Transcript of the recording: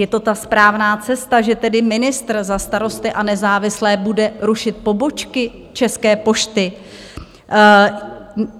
Je to ta správná cesta, že tedy ministr za Starosty a nezávislé bude rušit pobočky České pošty?